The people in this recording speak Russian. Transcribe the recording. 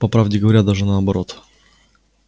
по правде говоря даже наоборот